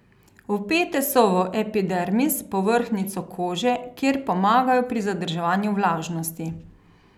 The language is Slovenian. Vpete so v epidermis, povrhnjico kože, kjer pomagajo pri zadrževanju vlažnosti.